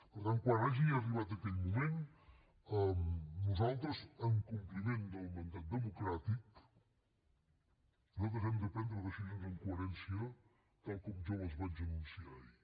per tant quan hagi arribat aquell moment nosaltres en compliment del mandat democràtic hem de prendre decisions amb coherència tal com jo les vaig anunciar ahir